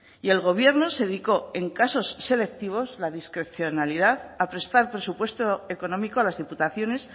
y el gobierno se dedicó en casos selectivos la discrecionalidad a prestar presupuesto económico a las diputaciones